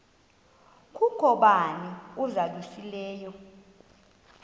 kukho bani uzalusileyo